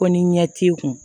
Ko ni ɲɛ t'i kun